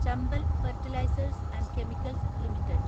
Chambal fertilisers and chemicals limited